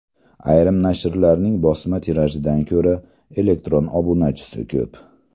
Ayrim nashrlarning bosma tirajidan ko‘ra elektron obunachisi ko‘p.